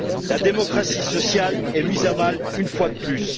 La démocratie sociale est mise à mal une fois de plus.